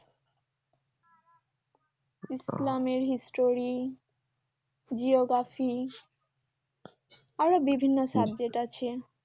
ইসলামের history geography আরও বিভিন্ন subject আছে